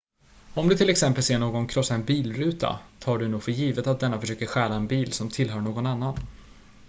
om du till exempel ser någon krossa en bilruta tar du nog för givet att denne försöker stjäla en bil som tillhör någon annan